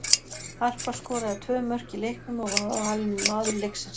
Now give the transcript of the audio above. Harpa skoraði tvö mörk í leiknum og var valin maður leiksins.